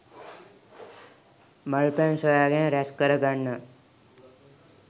මල් පැන් සොයා ගෙන රැස්කර ගන්නවා.